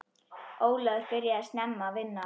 Ólafur byrjaði snemma að vinna.